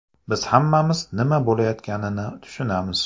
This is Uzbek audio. Biz hammamiz nima bo‘layotganini tushunamiz.